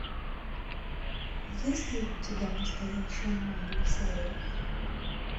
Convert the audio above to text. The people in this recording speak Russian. есть ли у тебя настоящая майли сайрус